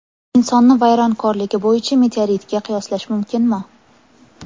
Insonni vayronkorligi bo‘yicha meteoritga qiyoslash mumkinmi?